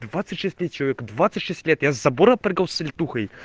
двадцать шесть лет человеку двадцать шесть лет я с забора прыгал с летухой